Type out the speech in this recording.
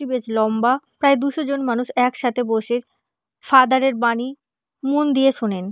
এটি বেশ লম্বা প্রায় দুশো জন মানুষ একসাথে বসে ফাদার -এর বাণী মন দিয়ে শোনেন।